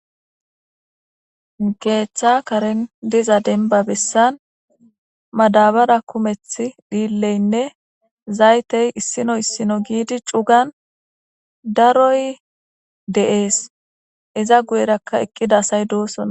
Keeththa karen diza dembba bessan madabara kumeththi dhiilleynne zaytey issino issino giidi cugan daroy de'es. Iza guyerakka eqqida asy dosona.